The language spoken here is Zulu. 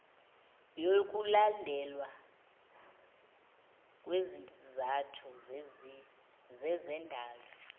yokulandelwa kwezizathu zezendalo